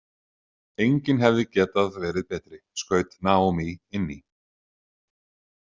Enginn hefði getað verið betri, skaut Naomi inn í.